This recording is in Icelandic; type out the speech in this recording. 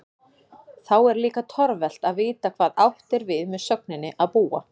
Þá er líka torvelt að vita hvað átt er við með sögninni að búa?